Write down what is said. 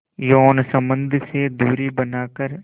यौन संबंध से दूरी बनाकर